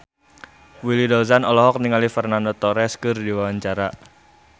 Willy Dozan olohok ningali Fernando Torres keur diwawancara